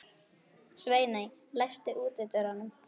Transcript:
Sveiney, læstu útidyrunum.